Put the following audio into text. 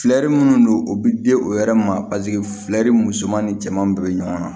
Fɛri minnu don o bɛ di o yɛrɛ ma paseke musoman ni cɛman bɛɛ bɛ ɲɔgɔn na